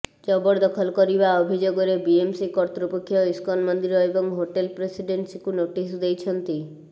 ଜବରଦଖଲ କରିବା ଅଭିଯୋଗରେ ବିଏମ୍ସି କର୍ତ୍ତୃପକ୍ଷ ଇସ୍କନ୍ ମନ୍ଦିର ଏବଂ ହୋଟେଲ ପ୍ରେସିଡେନ୍ସିକୁ ନୋଟିସ ଦେଇଛନ୍ତି